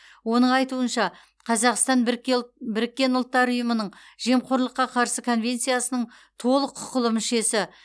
оның айтуынша қазақстан біріккен ұлттар ұйымының жемқорлыққа қарсы конвенциясының толық құқылы мүшесі